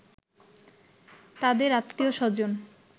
তাদের আত্মীয়স্বজন